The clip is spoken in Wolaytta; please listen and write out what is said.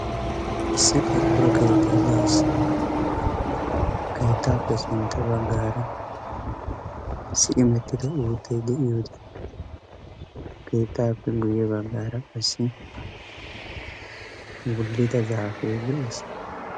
Issi qorqoro keettay de'es. Keettaappe sintta baggaara si'imettida uuttay de'iyoode keettaappe guye baggaara issi wullida zaafee de"es.